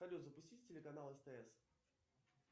салют запусти телеканал стс